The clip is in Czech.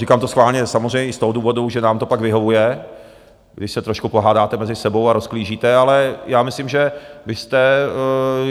Říkám to schválně samozřejmě i z toho důvodu, že nám to pak vyhovuje, když se trošku pohádáte mezi sebou a rozklížíte, ale já myslím, že vy jste...